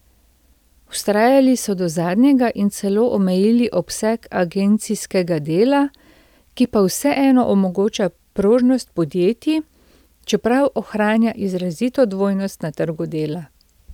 Vztrajali so do zadnjega in celo omejili obseg agencijskega dela, ki pa vseeno omogoča prožnost podjetij, čeprav ohranja izrazito dvojnost na trgu dela.